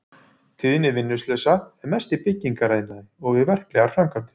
Tíðni vinnuslysa er mest í byggingariðnaði og við verklegar framkvæmdir.